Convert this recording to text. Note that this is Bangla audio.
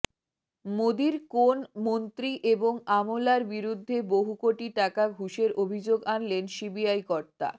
মোদীর কোন মন্ত্রী এবং আমলার বিরুদ্ধে বহু কোটি টাকা ঘুষের অভিযোগ আনলেন সিবিআই কর্তা